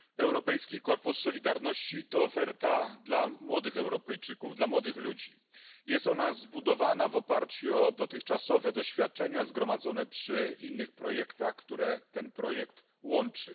Panie Przewodniczący! Europejski Korpus Solidarności to oferta dla młodych Europejczyków, dla młodych ludzi. Jest ona zbudowana w oparciu o dotychczasowe doświadczenia zgromadzone przy innych projektach, które ten projekt łączy.